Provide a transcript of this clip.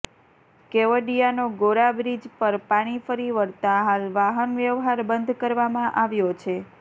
કેવડિયાનો Gora bridge પર પાણી ફરી વળતા હાલ વાહન વ્યવહાર બંધ કરવામાં આવ્યો છે